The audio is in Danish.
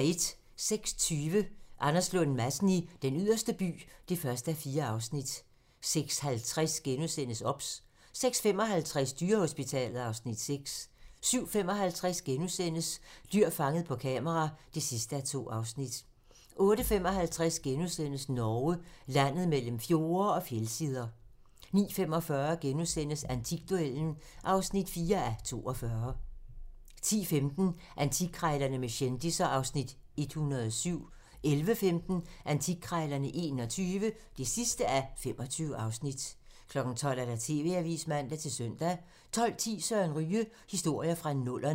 06:20: Anders Lund Madsen i Den Yderste By (1:4) 06:50: OBS * 06:55: Dyrehospitalet (Afs. 6) 07:55: Dyr fanget på kamera (2:2)* 08:55: Norge - landet mellem fjorde og fjeldsider * 09:45: Antikduellen (4:42)* 10:15: Antikkrejlerne med kendisser (Afs. 107) 11:15: Antikkrejlerne XXI (25:25) 12:00: TV-avisen (man-søn) 12:10: Søren Ryge: Historier fra nullerne